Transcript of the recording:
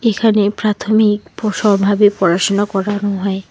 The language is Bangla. এখানে প্রাথমিক প্রসরভাবে পড়াশোনা করানো হয়।